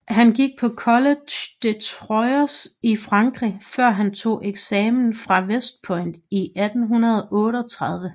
Han gik på College de Troyes i Frankrig før han tog eksamen fra West Point i 1838